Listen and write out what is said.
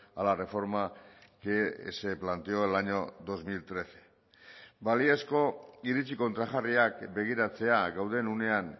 a la reforma que se planteó el año dos mil trece baliozko iritzi kontrajarriak begiratzea gauden unean